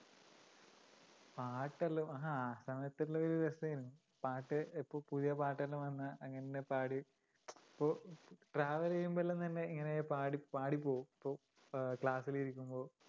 പാട്ടെല്ലാം ആ സമയത്തു ഉള്ള ഒരു രസമായിരുന്നു. പാട്ട് ഇപ്പൊ പുതിയ പാട്ടെല്ലാം വന്നാ അങ്ങനെ തന്നെപാടി ഇപ്പൊ travel ചെയ്യുമ്പോളെല്ലാം തന്നെ പാടിപ്പോവും. അഹ് class ഇലിരിക്കുമ്പോ